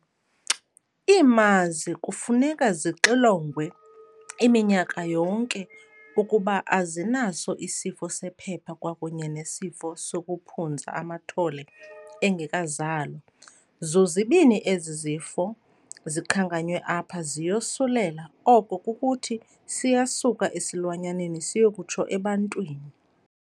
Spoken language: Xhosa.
Iimazi kufuneka zixilongwe iminyaka yonke ukuba azinaso isifo sephepha kwakunye nesifo sokuphunza amathole engekazalwa. Zozibini ezi zifo zikhankanywe apha ziyosulela oko kukuthi siyasuka esilwanyaneni siyokutsho ebantwini.